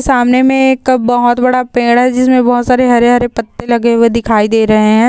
सामने मे एक बहुत बड़ा पेड़ है जिसमे बहुत सारे हरे-हरे पत्ते लगे हुए दिखाई दे रहे हैं।